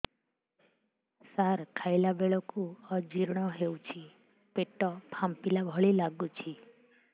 ସାର ଖାଇଲା ବେଳକୁ ଅଜିର୍ଣ ହେଉଛି ପେଟ ଫାମ୍ପିଲା ଭଳି ଲଗୁଛି